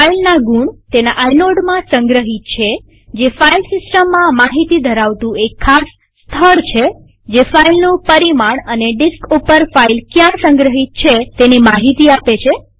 ફાઈલના ગુણ તેના આઈનોડમાં સંગ્રહિત છેતે ફાઈલ સિસ્ટમમાં માહિતી ધરાવતું એક ખાસ સ્થળ છે જે ફાઈલનું પરિમાણ અને ડિસ્ક ઉપર ફાઈલ ક્યાં સંગ્રહિત છે તેની માહિતી આપે છે